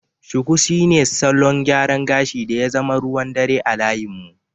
Shuku shine salon gyaran gashi da ya zama ruwan dare a layin mu.